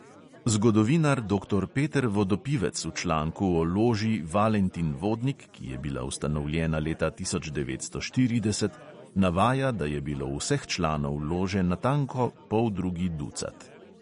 Zgodovinar doktor peter vodopivec v članku o loži valentin vodnik, ki je bila ustanovljena leta tisoč devetsto štirideset, navaja, da je bilo vseh članov lože natanko poldrugi ducat.